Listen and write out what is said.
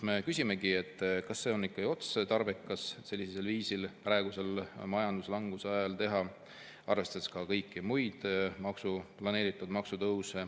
Me küsimegi, kas on otstarbekas sellisel viisil praegusel majanduslanguse ajal teha, arvestades ka kõiki muid planeeritud maksutõuse.